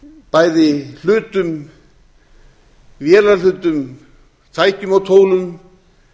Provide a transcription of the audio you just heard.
bæði hlutum vélarhlutum tækjum og tólum